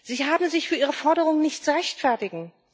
Sie haben sich für ihre Forderungen nicht zu rechtfertigen.